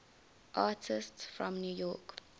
artists from new york